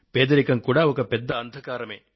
పేదరికమూ ఒక పెద్ద అంధకారమే